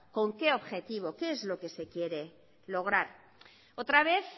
con qué objetivo qué es lo que se quiere lograr otra vez